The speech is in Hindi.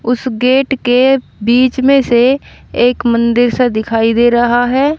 उस गेट के बीच में से एक मंदिर सा दिखाई दे रहा है।